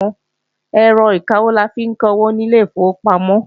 Ẹ̀rọ ìkawó la fi ń kawó nílé ìfowópamọ́